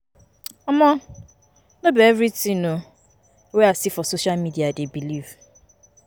um No be everytin um wey I see for social media I dey believe.